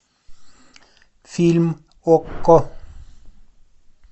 фильм окко